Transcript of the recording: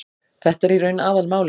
Þetta er í raun aðalmálið